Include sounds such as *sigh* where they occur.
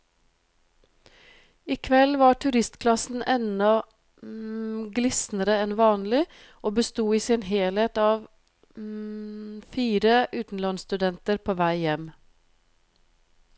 I kveld var turistklassen enda *hesitation* glisnere enn vanlig, og besto i sin helhet av *hesitation* fire utenlandsstudenter på vei hjem.